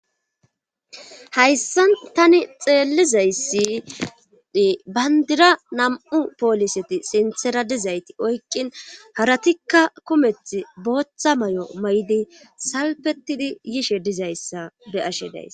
Hayssa tani xeellizaysidi bandira nam'u pooliseti sinthera dizayti oykqin haratikka kumeth booththa may'o may'di salpetidi yishe dizayssa be ashe days.